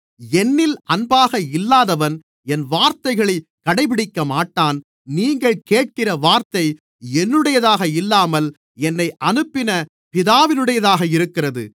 என்னில் அன்பாக இல்லாதவன் என் வார்த்தைகளைக் கடைப்பிடிக்கமாட்டான் நீங்கள் கேட்கிற வார்த்தை என்னுடையதாக இல்லாமல் என்னை அனுப்பின பிதாவினுடையதாக இருக்கிறது